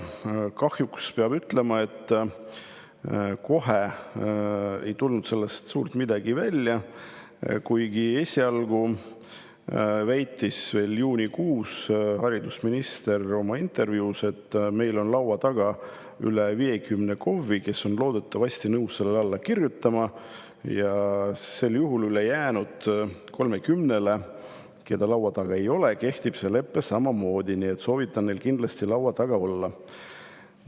Kahjuks peab ütlema, et sellest ei tulnud suurt midagi välja, kuigi esialgu, juunikuus väitis haridusminister oma intervjuus: meil on laua taga üle 50 KOV-i, kes on loodetavasti nõus sellele leppele alla kirjutama, ja kuna ülejäänud 30 KOV-ile, keda laua taga ei ole, kehtib see lepe samamoodi, siis soovitan neil kindlasti laua taga olla.